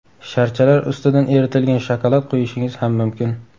Sharchalar ustidan eritilgan shokolad quyishingiz ham mumkin.